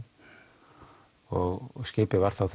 og skipið var þá